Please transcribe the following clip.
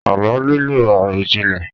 Àlọ́ nílò àròjinlẹ̀